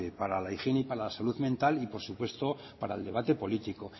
para la higiene y para la salud mental y por supuesto para el debate político